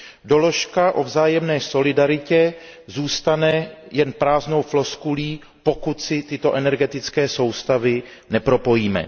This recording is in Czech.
Doložka o vzájemné solidaritě zůstane jen prázdnou floskulí, pokud si tyto energetické soustavy nepropojíme.